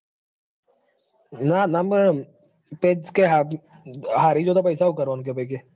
ના ના કે હારી જોતો પૈસા સુ કરવાનું કે ભાઈ કે.